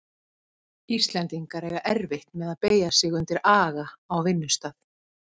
Íslendingar eiga erfitt með að beygja sig undir aga á vinnustað.